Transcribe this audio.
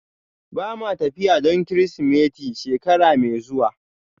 Ba ma tafiya don Kirsimeti shekara mai zuwa